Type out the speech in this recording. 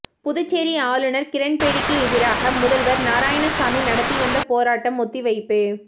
புதுச்சேரி ஆளுநர் கிரண்பேடிக்கு எதிராக முதல்வர் நாராயணசாமி நடத்தி வந்த போராட்டம் ஒத்திவைப்பு